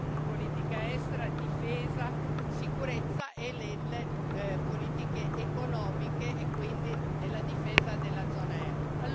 in politica estera, difesa, sicurezza e nelle politiche economiche e quindi nella difesa della zona euro.